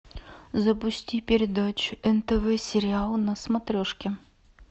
запусти передачу нтв сериал на смотрешке